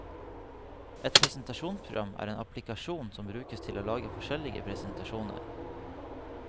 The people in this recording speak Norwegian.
Et presentasjonsprogram er en applikasjon som brukes til å lage forskjellige presentasjoner.